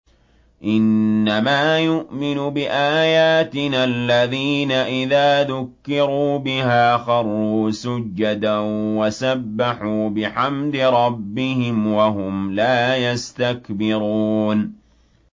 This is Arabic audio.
إِنَّمَا يُؤْمِنُ بِآيَاتِنَا الَّذِينَ إِذَا ذُكِّرُوا بِهَا خَرُّوا سُجَّدًا وَسَبَّحُوا بِحَمْدِ رَبِّهِمْ وَهُمْ لَا يَسْتَكْبِرُونَ ۩